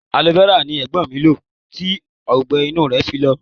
Aloe-vera ni Ẹ̀gbọ́n mi lo tí ọgbẹ-inú rẹ fi lọ.